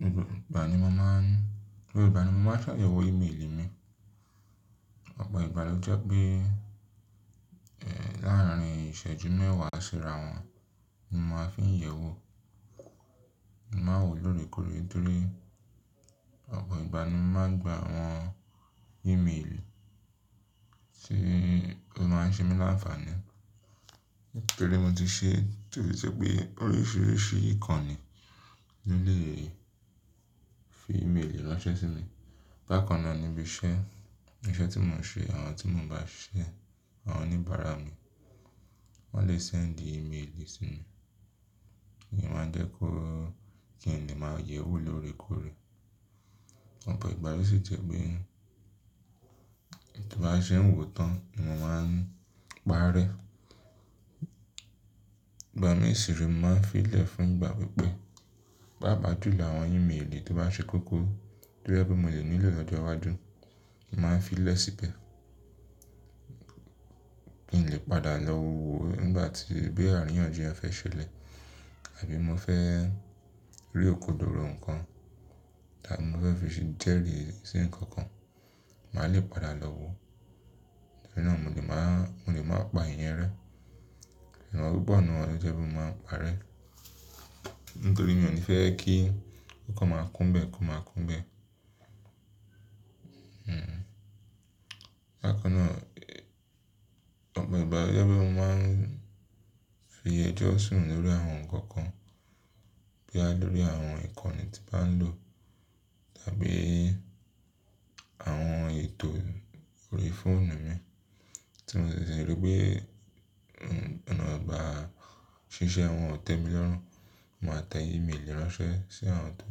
Gbogbo ìgbà ni mo máa ń, gbogbo ìgbà ni mo máa ń ṣàyẹ̀wò ímeèlì mi. Ọ̀pọ̀ ìgbà ló jẹ́ pé, ẹ̀, láàrín ìṣẹ́jú mẹ́wàá sí ràwọ̀n ni mo máa fi ń yẹ̀wò. Mo má n wò lóore kóòré ntorí ọ̀pọ̀ ìgbà ni mo máa ń gba àwọn ímeèlì tí ó máa ń ṣe mí lánfàáni. Nítorí mo ti ṣe tò je pé oríṣìíríṣìí ìkànnì na lè fi ímeèlì ránṣẹ́ sí mi. Bákan náà níbi iṣẹ́, iṣẹ́ tí mò ń ṣe, àwọn tí mò ń bá ṣiṣẹ́, àwọn oníbàárà mi, wọ́n lè sẹ́ǹdì ímeèlì sí mi. Kí n máa jẹ́ kó kí n lè máa yẹ̀wò lóore kóòré. Ọ̀pọ̀ ìgbà lóò sì jẹ́ pé ta bá ṣe n wò tán ni mo máa ń parẹ́. Ìgbà mìí sì re mo máa ń fi lẹ̀ fún ìgbà pípẹ́. Paapa júlọ àwọn ímeèlì tó bá ṣe koko, to je pe mo lè nílò lọ́jọ́ wájú, mo màá n fi í lẹ̀ síbẹ̀ kí n lè padà lọ wo nígbà tí boya àríyànjiyàn fẹ́ ṣẹlẹ̀ àbí mo fẹ́ rí òkòdoro nǹkan tí mo fẹ́ fi jẹ́rìí sí nǹkan kan, mà lè padà lọ wo. Tori náà mo lè máa, mo lè máa pa iyẹn rẹ́. Ṣùgbọ́n pupo nnu wòn lo jẹ́ pe mo máa ń parẹ́. Nítorí mi ò ní fẹ́ kí kokan máa kún bẹ́ẹ̀, ko máa kún bẹ́ẹ̀. Hmm. Bákan náà, ọ̀pọ̀ ìgbà lo jẹ́ pé mo máa ń fi ẹjọ́ sùn lórí àwọn nǹkan kan boya lórí àwọn ìkànnì tí n bá ń lò tàbí àwọn ètò orí fóònù mi tí mo ṣẹ̀ṣẹ̀ rí pé, ona gba, ṣiṣẹ́ àwọn ò tẹ́ mi lọ́rùn. Máa tẹ ímeèlì ránṣẹ́ sí àwọn tó,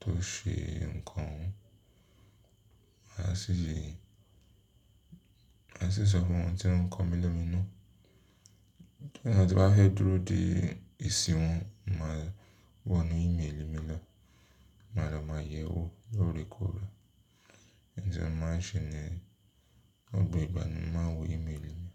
tó ṣe nǹkan o hun. Màá sì, màá sì sọ fún wọn ntí o komi lominu. Boya tí n bá fe dúró dé esí wọ̀n, màá wọ inú ímeèlì mi lọ. Màá lọ màá yẹ̀wò lóore kóòré. Ǹjẹ́ mo màá n ṣe niyen gbogbo ìgbà ni mo màá n wo ímeèlì mi.